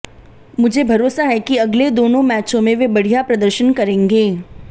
मुझे भरोसा है कि अगले दोनों मैचों में वे बढ़िया प्रदर्शन करेंगे